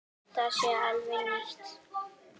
Það sé alveg nýtt.